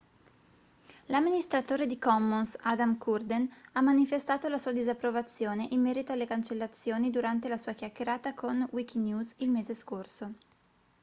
l'amministratore di commons adam cuerden ha manifestato la sua disapprovazione in merito alle cancellazioni durante la sua chiacchierata con wikinews il mese scorso